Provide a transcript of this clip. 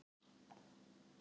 Lýsa stuðningi við Bjarna